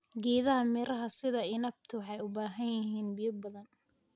Geedaha miraha sida inabtu waxay u baahan yihiin biyo badan.